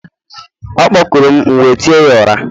ọ kpọkurum, m'we tie ya ara